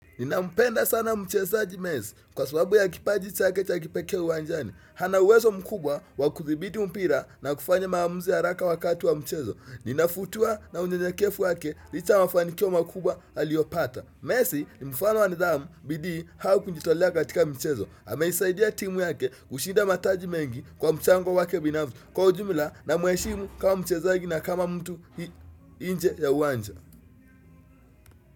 Ninampenda sana mchezaji messi kwa sababu ya kipaji chake cha kipekee uwanjani. Ana uwezo mkubwa wa kuthibiti mpira na kufanya maamuzi haraka wakati wa mchezo. Ninafutiwa na unyenyekevu wake licha ya mafanikio makubwa aliyopata. Messi ni mfano wa nidhamu bidii au kujitolea katika mchezo. Ameisaidia timu yake kushinda mataji mengi kwa mchango wake binafsi. Kwa ujumla namheshimu kama mchezaji na kama mtu nje ya uwanja.